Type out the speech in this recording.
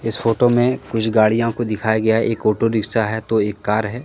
इस फोटो मे कुछ गाड़ियों को दिखाया गया हैं एक ऑटो रिक्शा है तो एक कार हैं।